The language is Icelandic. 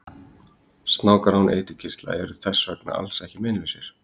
Snákar án eiturkirtla eru þess vegna alls ekki meinlausir!